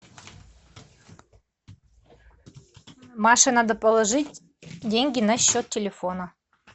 маше надо положить деньги на счет телефона